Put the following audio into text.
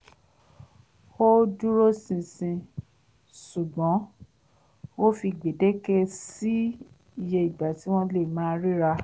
ó dúróṣinṣin ṣùgbọ́n ó fi gbèdéke sí iye ìgbà tí wọ́n lè máa ríra